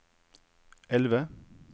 elve